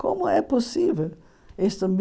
Como é possível? Isto me